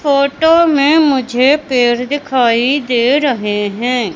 Photo में मुझे पेड़ दिखाई दे रहे हैं।